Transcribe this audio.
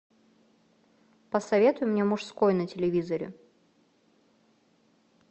посоветуй мне мужской на телевизоре